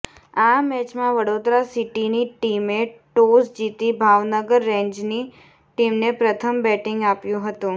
આ મેચમાં વડોદરા સિટીની ટીમે ટોસ જીતી ભાવનગર રેન્જની ટીમને પ્રથમ બેટીંગ આપ્યુ હતું